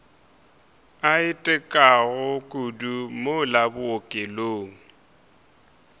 a itekago kudu mola bookelong